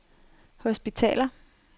hospitaler